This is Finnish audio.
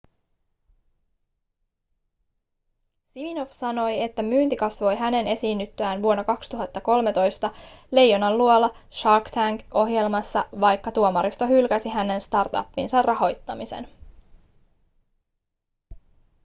siminoff sanoi että myynti kasvoi hänen esiinnyttyään vuonna 2013 leijonanluola shark tank -ohjelmassa vaikka tuomaristo hylkäsi hänen startupinsa rahoittamisen